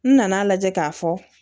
N nana lajɛ k'a fɔ